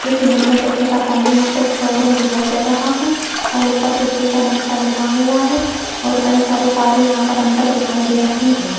इस इमेज में देखिएगा सामने यहां पे एक शोरूम दिखाई दे रहा है और ऊपर देखिएगा नेक्सा लिखा हुआ है और कई सारी कारें यहां पर अंदर दिखाई दे रही हैं।